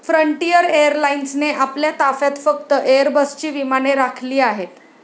Frontier एअरलाइन्सने आपल्या ताफ्यात फक्त एयरबसची विमाने राखिली आहेत.